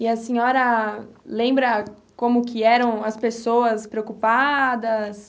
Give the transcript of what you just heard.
E a senhora lembra como que eram as pessoas preocupadas?